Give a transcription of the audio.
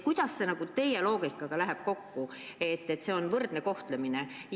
Kuidas see teie loogikaga kokku läheb, et nende puhul on tegemist võrdse kohtlemisega?